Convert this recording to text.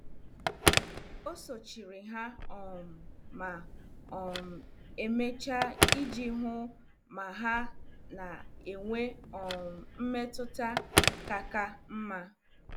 O sochiri ha um ma um emechaa iji hụ ma ha na-enwe um mmetụta ka ka mma.